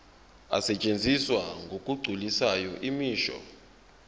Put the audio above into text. asetshenziswa ngokugculisayo imisho